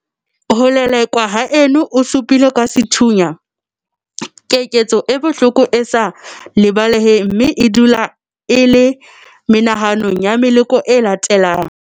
Ho lelekwa haeno o su pilwe ka sethunya keketso e bohloko e sa lebaleheng mme e dula e le menahanong ya meloko e latelang.